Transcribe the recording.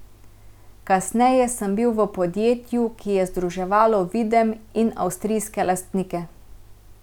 Kasneje sem bil v podjetju, ki je združevalo Videm in avstrijske lastnike.